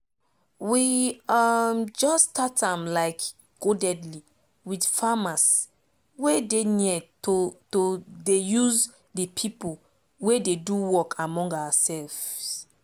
we um jus start am like codedly with farmers wey dey near to to dey use de pipo wey dey do work among oursefs